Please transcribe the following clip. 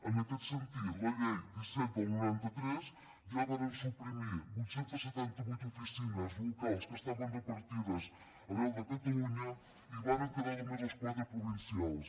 en aquest sentit la llei disset noranta tres ja va suprimir vuit cents i setanta vuit oficines locals que estaven repartides arreu de catalunya i va·ren quedar només les quatre provincials